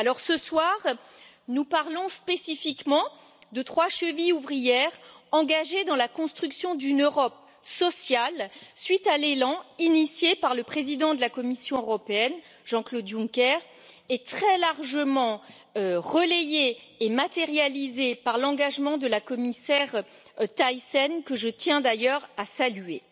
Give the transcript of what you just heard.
Ce soir, nous parlons spécifiquement de trois chevilles ouvrières engagées dans la construction d'une Europe sociale, suite à l'élan initié par le président de la Commission européenne, Jean Claude Juncker, et très largement relayé et matérialisé par l'engagement de la commissaire, Mme Thyssen, que je tiens d'ailleurs à saluer.